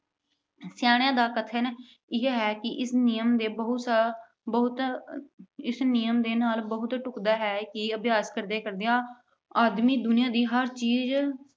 ਸਿਆਣਿਆਂ ਦਾ ਕਥਨ ਇਹ ਹੈ ਕਿ ਇਸ ਨਿਯਮ ਦੇ ਬਹੁਤ ਸ ਅਹ ਬਹੁਤ ਅਹ ਇਸ ਨਿਯਮ ਦੇ ਨਾਲ ਬਹੁਤ ਢੁਕਦਾ ਹੈ ਕਿ ਅਭਿਆਸ ਕਰਦਿਆਂ-ਕਰਦਿਆਂ, ਆਦਮੀ ਦੁਨੀਆਂ ਦੀ ਹਰ ਚੀਜ਼